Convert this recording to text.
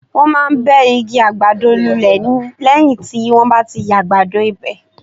Wọ́n máa ń bẹ́ igi àgbàdo lulẹ̀ ni lẹ́yìn tí wọ́n bá ti yàgbado ibẹ̀.